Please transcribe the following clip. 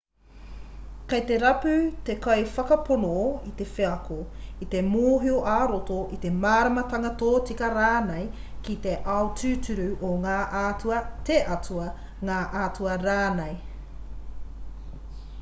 kei te rapu te kaiwhakapono i te wheako i te mōhio ā-roto i te māramatanga tōtika rānei ki te ao tūturu o ngā atua/te atua ngā atua rānei